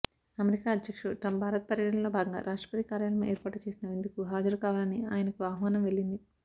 America అధ్యక్షుడు Trump Bharat పర్యటనలో భాగంగా రాష్ట్రపతి కార్యాలయం ఏర్పాటు చేసిన విందుకు హాజరుకావాలని ఆయనకు ఆహ్వానం వెళ్లింది